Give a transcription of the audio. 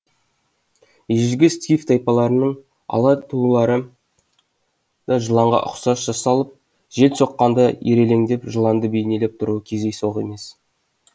ежелгі скиф тайпаларының ала тулары да жыланға ұқсас жасалып жел соққанда ирелеңдеп жыланды бейнелеп тұруы кездейсоқ емес